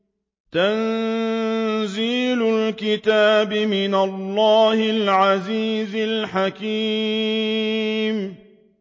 تَنزِيلُ الْكِتَابِ مِنَ اللَّهِ الْعَزِيزِ الْحَكِيمِ